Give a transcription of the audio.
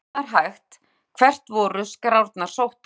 Og ef það er hægt, hvert voru skrárnar sóttar?